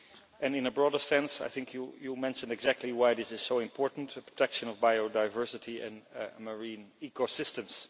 And in a broader sense I think you mention exactly why this is so important the protection of biodiversity and marine ecosystems.